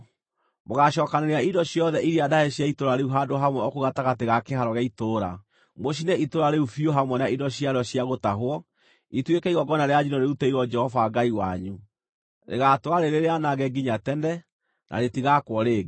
Mũgaacookanĩrĩria indo ciothe iria ndahe cia itũũra rĩu handũ hamwe o kũu gatagatĩ ga kĩhaaro gĩa itũũra, mũcine itũũra rĩu biũ hamwe na indo ciarĩo cia gũtahwo, ituĩke igongona rĩa njino rĩrutĩirwo Jehova Ngai wanyu. Rĩgaatũũra rĩrĩ rĩanange nginya tene, na rĩtigaakwo rĩngĩ.